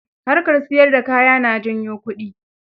Harkar siyar da kaya na janyo kudi.